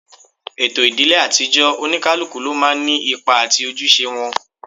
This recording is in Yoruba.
Ètò ìdílé àtijọ́, Oníkálukú ló máa ń ní ipa àti ojúṣe wọn